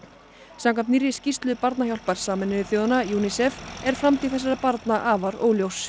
samkvæmt nýrri skýrslu barnahjálpar Sameinuðu þjóðanna UNICEF er framtíð þessara barna afar óljós